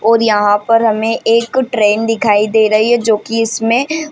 और यहाँ पर हमे एक ट्रैन दिखाई दे रही है जो की इसमे --